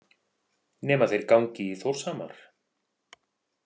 Nema þeir gangi í Þórshamar.